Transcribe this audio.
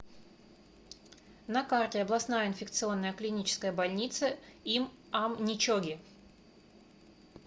на карте областная инфекционная клиническая больница им ам ничоги